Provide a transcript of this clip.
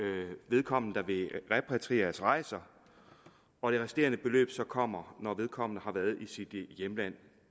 vedkommende der vil repatrieres rejser og det resterende beløb så kommer når vedkommende har været i sit hjemland